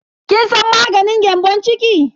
Kin san maganin gyambon ciki?